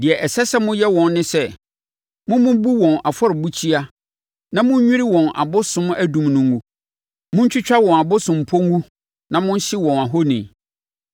Deɛ ɛsɛ sɛ moyɛ wɔn ne sɛ, mommubu wɔn afɔrebukyia na monnwiri wɔn abosom adum no ngu. Montwitwa wɔn abosompɔ ngu na monhye wɔn ahoni.